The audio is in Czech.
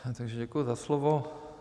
Takže děkuji za slovo.